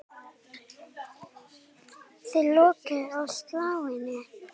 Rúnar: Þið lokið á slaginu?